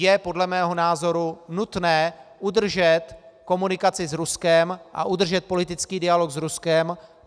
Je podle mého názoru nutné udržet komunikaci s Ruskem a udržet politický dialog s Ruskem.